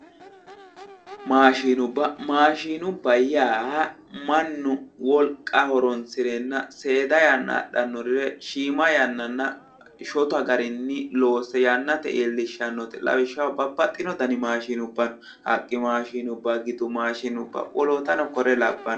Maashinubba maashinubba yaa mannu wolqa horoonsirenna seeda yanna adhannore shiima yannanna shotu garinni loose yannate iillishshannote lawishshaho babbaxxino dani maashinubba no haqqu maashinubba gidu maashinubba wolootano kuri labbanno